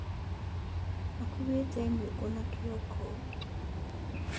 Akuuĩte nyũngũna kĩongo